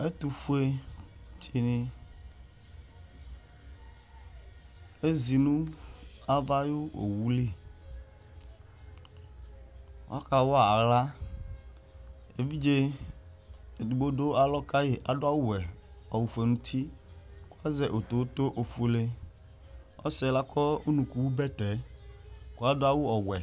Ɛtʋfʋe dìní ezi nʋ ava ayʋ owu li Ɔka wa aɣla Evidze ɛdigbo du alɔ kayi kʋ adu awu ɔwɛ, awu fʋe nʋ ʋti kʋ azɛ otowoto ɔfʋele Ɔsi yɛ lakɔ ʋnʋku bɛtɛ kʋ adu awu ɔwɛ